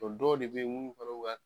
Dɔ dɔw de be ye munnu kɔrɔw ka